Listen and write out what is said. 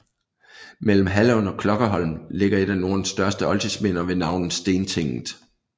Mellem Hallund og Klokkerholm ligger et af Nordens største oldtidsminder ved navn Stentinget